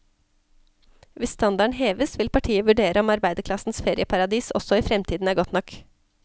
Hvis standarden heves, vil partiet vurdere om arbeiderklassens ferieparadis også i fremtiden er godt nok.